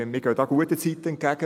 Wir gehen guten Zeiten entgegen;